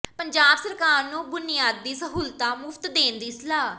ਪੰਜਾਬ ਸਰਕਾਰ ਨੂੰ ਬੁਨਿਆਦੀ ਸਹੂਲਤਾਂ ਮੁਫ਼ਤ ਦੇਣ ਦੀ ਸਲਾਹ